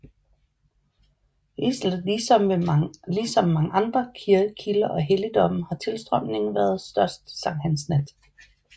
Ligesom ved mange andre kilder og helligdomme har tilstrømningen været størst sankthansnat